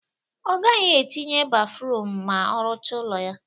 Ọ gaghị etinye bafruum ma ọ rụcha ụlọ ya